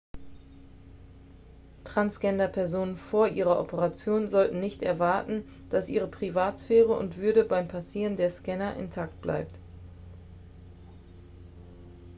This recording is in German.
transgender-personen vor ihrer operation sollten nicht erwarten dass ihre privatsphäre und würde beim passieren der scanner intakt bleibt